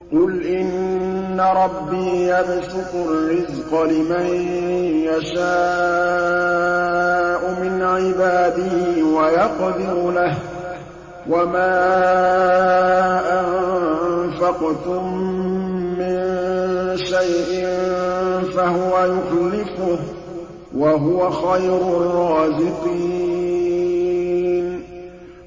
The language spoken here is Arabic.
قُلْ إِنَّ رَبِّي يَبْسُطُ الرِّزْقَ لِمَن يَشَاءُ مِنْ عِبَادِهِ وَيَقْدِرُ لَهُ ۚ وَمَا أَنفَقْتُم مِّن شَيْءٍ فَهُوَ يُخْلِفُهُ ۖ وَهُوَ خَيْرُ الرَّازِقِينَ